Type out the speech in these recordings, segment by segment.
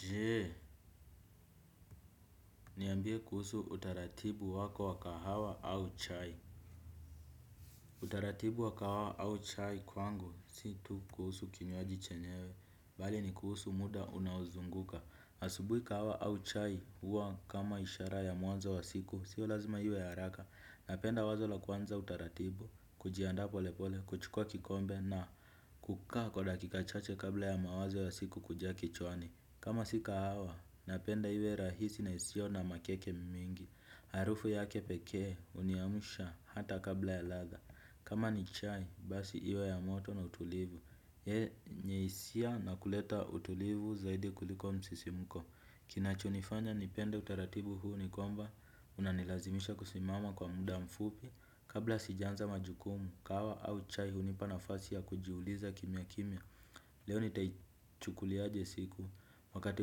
Je. Niambie kuhusu utaratibu wako wa kahawa au chai. Utaratibu wa kahawa au chai kwangu, si tu kuhusu kinywaji chenyewe, bali ni kuhusu muda unaozunguka. Asubui kahawa au chai, huwa kama ishara ya mwanzo wa siku, sio lazima iwe ya haraka. Napenda wazo la kwanza utaratibu, kujianda polepole, kuchukua kikombe na. Kukaa kwa dakika chache kabla ya mawazo wa siku kujaa kichwani. Kama si kahawa, napenda iwe rahisi na isio na makeke mingi. Harufu yake pekee, huniamsha hata kabla ya latha, kama ni chai, basi iwe ya moto na utulivu. Yenye hisia na kuleta utulivu zaidi kuliko msisimuko. Kinachonifanya nipende utaratibu huu ni kwamba. Unanilazimisha kusimama kwa muda mfupi. Kabla sija anza majukumu, kahawa au chai hunipa nafasi ya kujiuliza kimya kimya. Leo nita. Ichukuliaje siku, wakati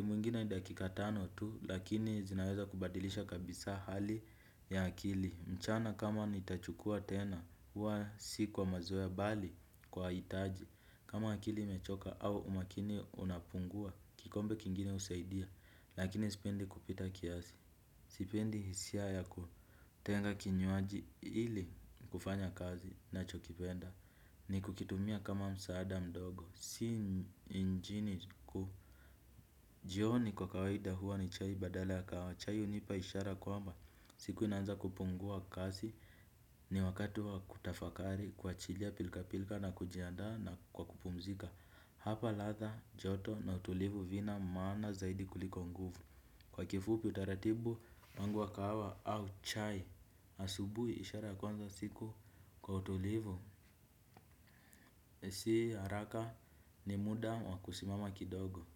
mwingine ni dakika tano tu, lakini zinaweza kubadilisha kabisa hali ya akili mchana kama nitachukua tena, huwa siku wa mazoea, bali kwa hitaji. Kama akili imechoka au umakini unapungua, kikombe kingine husaidia, lakini sipendi kupita kiasi. Sipendi hisia yaku. Tenga kinywaji ili, kufanya kazi nachokipenda. Ni kukitumia kama msaada mdogo, si injini kuu. Jioni kwa kawaida huwa ni chai badala ya kahawa, chai hunipa ishara kwamba. Siku inaanza kupungua kasi. Ni wakati wa kutafakari kuachilia pilka pilka na kujiandaa, na kwa kupumzika. Hapa latha, joto na utulivu vina maana zaidi kuliko nguvu. Kwa kifupi utaratibu, wangu wa kahawa au chai. Asubuhi ishara ya kuanza siku, kwa utulivu. Si haraka, ni muda wa kusimama kidogo.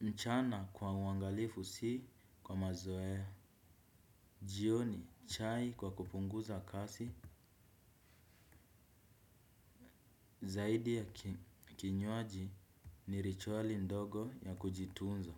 Mchana kwa uangalifu si, kwa mazoea. Jioni chai kwa kupunguza kasi. Zaidi ya. Kinywaji. Ni rituali ndogo ya kujitunza.